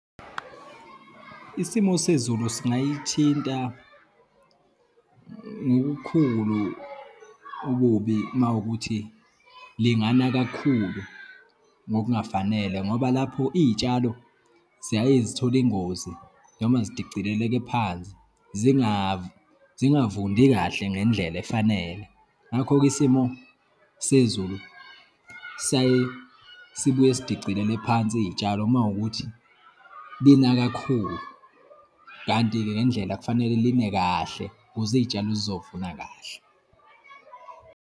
Isimo sezulu singayithinta ngokukhulu ububi uma wukuthi lingana kakhulu ngokungafanele, ngoba lapho iyitshalo ziyaye zithole ingozi noma zidicileleke phansi, zingavundi kahle ngendlela efanele. Ngakho-ke isimo sezulu siyaye sibuye sidicilele phansi iyitshalo uma wukuthi lina kakhulu. Kanti-ke ngendlela, kufanele line kahle kuze iyitshalo zizovuna kahle.